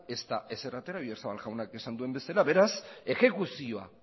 ez da ezer atera oyarzabal jaunak esan duen bezala beraz exekuzioa